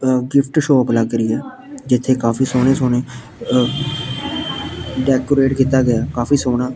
ਆ gift shop ਲੱਗ ਰਹੀ ਆ ਜਿੱਥੇ ਕਾਫੀ ਸੋਹਣੇ ਸੋਹਣੇ ਅ ਡੈਕੋਰੇਟ ਕੀਤਾ ਗਿਆ ਕਾਫੀ ਸੋਹਣਾ--